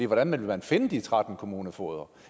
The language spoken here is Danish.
hvordan vil man finde de tretten kommunefogeder